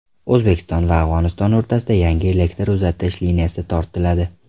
O‘zbekiston va Afg‘oniston o‘rtasida yangi elektr uzatish liniyasi tortiladi.